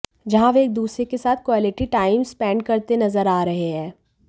जहां वे एक दूसरे के साथ क्वालिटी टाइम स्पेंड करते नज़र आ रहे हैं